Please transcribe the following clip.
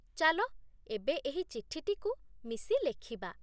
ଚାଲ ଏବେ ଏହି ଚିଠିଟିକୁ ମିଶି ଲେଖିବା।